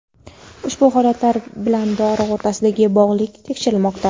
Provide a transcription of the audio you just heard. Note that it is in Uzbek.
ushbu holatlar bilan dori o‘rtasidagi bog‘liqlik tekshirilmoqda.